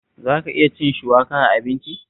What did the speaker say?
Za ka iya cin shuwaka a abinci?